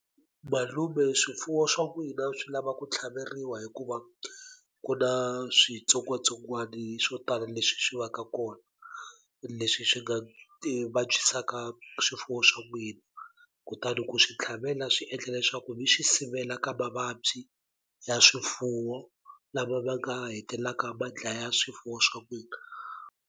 Malume swifuwo swa n'wina swi lava ku tlhaveriwa hikuva ku na switsongwatsongwani swo tala leswi swi va ka kona leswi swi nga vabyisaka swifuwo swa n'wina kutani ku swi tlhavela swi endla leswaku mi swi sivela ka mavabyi ya swifuwo lama ma nga hetelaka ma dlaya swifuwo swa n'wina.